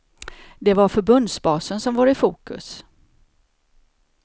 Det var förbundsbasen som var i fokus.